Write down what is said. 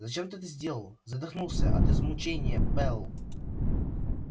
зачем ты это сделал задохнулся от измучения пэл